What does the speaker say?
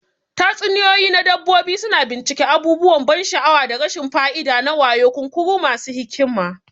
Tatsuniyoyi na dabbobi suna bincika abubuwan ban sha'awa da rashin fa'ida na wayo, kunkuru masu hikima.